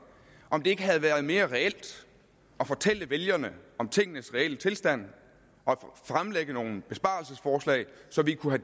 om det ikke havde været mere reelt at fortælle vælgerne om tingenes reelle tilstand og fremlægge nogle besparelsesforslag så vi kunne